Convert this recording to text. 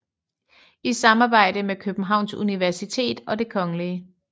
I samarbejde med Københavns Universitet og Det Kgl